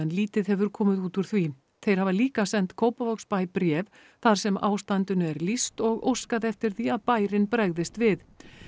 lítið hefur komið út úr því þeir hafa líka sent Kópavogsbæ bréf þar sem ástandinu er lýst og óskað eftir því að bærinn bregðist við